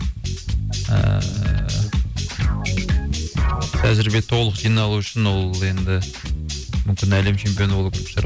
ііі тәжірибе толық жиналу үшін ол енді мүмкін әлем чемпионы болу керек шығар